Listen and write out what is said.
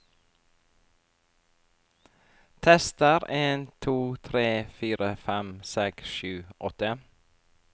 Tester en to tre fire fem seks sju åtte